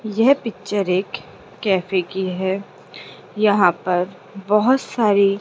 येह पिक्चर एक कैफे की है यहां पर बहोत सारी--